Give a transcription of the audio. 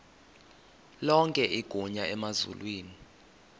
lonke igunya emazulwini